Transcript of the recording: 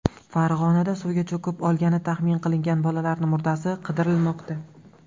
Farg‘onada suvga cho‘kib o‘lgani taxmin qilingan bolaning murdasi qidirilmoqda.